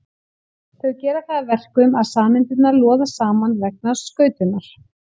Þau gera það að verkum að sameindirnar loða saman vegna skautunar.